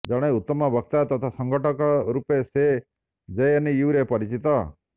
ଜଣେ ଉତ୍ତମ ବକ୍ତା ତଥା ସଂଗଠକ ରୂପେ ସେ ଜେଏନୟୁରେ ପରିଚିତ